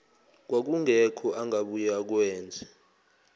kwakungekho angabuye akwenze